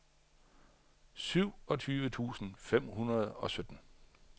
syvogtyve tusind fem hundrede og sytten